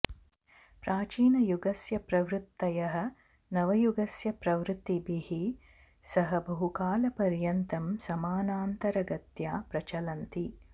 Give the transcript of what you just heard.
प्राचीनयुगस्य प्रवृत्तयः नवयुगस्य प्रवृत्तिभिः सह बहुकालपर्यन्तं समानान्तरगत्या प्रचलन्ति